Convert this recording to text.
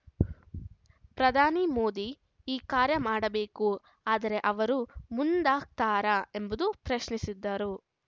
ಪ್ರಧಾನಿ ಮೋದಿ ಈ ಕಾರ್ಯ ಮಾಡಬೇಕು ಆದರೆ ಅವರು ಮುಂದಾಗ್ತಾರಾ ಎಂಬುದು ಪ್ರಶ್ನಿಸಿದರು